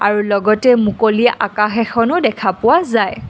আৰু লগতে মুকলি আকাশ এখনো দেখা পোৱা যায়।